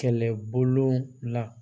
Kɛlɛbolo la